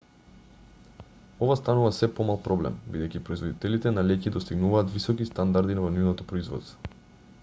ова станува сѐ помал проблем бидејќи производителите на леќи достигнуваат високи стандарди во нивното производство